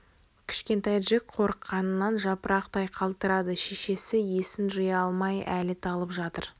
кішкентай джек қорыққанынан жапырақтай қалтырады шешесі есін жия алмай әлі талып жатыр